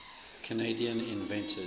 canadian inventors